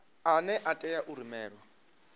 ane a tea u rumelwa